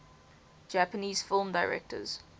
japanese film directors